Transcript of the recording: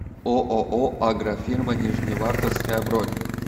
ооо агрофирма нижневартовская бронь